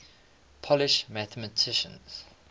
polish mathematicians